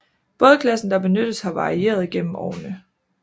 Bådklassen der benyttes har varieret gennem årene